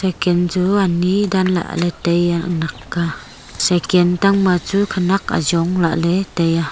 cyken chu ani danlah ley taiya naknak ka cyken tangma chu khenak ajong lahley taiya.